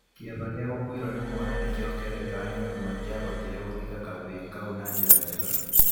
Kĩeva gĩa gũkuĩrũo nĩ mwana nĩ kĩongererekaga nĩ ũndũ matiavotire gũthika kavĩĩ kau na njĩra njega.